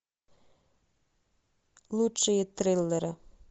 лучшие триллеры